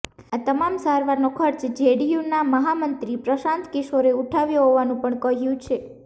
આ તમામ સારવારનો ખર્ચ જેડીયુના મહામંત્રી પ્રશાંત કિશોરે ઉઠાવ્યો હોવાનું પણ કહ્યું છે